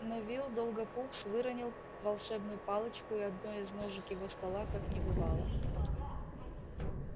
невилл долгопупс выронил волшебную палочку и одной из ножек его стола как не бывало